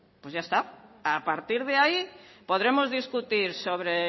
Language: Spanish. pues ya está a partir de ahí podremos discutir sobre